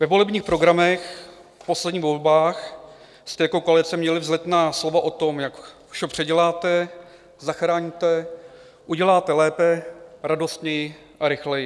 Ve volebních programech v posledních volbách jste jako koalice měli vzletná slova o tom, jak vše předěláte, zachráníte, uděláte lépe, radostněji a rychleji.